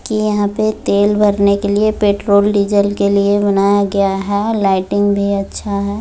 - -की यहां पे तेल भरने के लिए पेट्रोल डीजल के लिए बनाया गया है लाइटिंग भी अच्छा है।